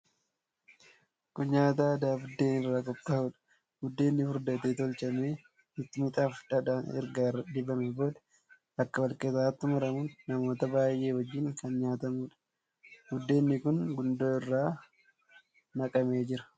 Kun nyaata aadaa buddeen irraa qophaa'uudha. Buddeenni furdatee tolchamee, mixmixaafi dhadhaan erga irra dibamee booda bakka wal qixaatti murmuramuun namoota baay'ee wajjin kan nyaatamuudha. Buddeenni kun gundoo irra naqamee jira.